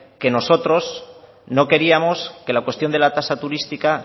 que nosotros no queríamos que la cuestión de la tasa turística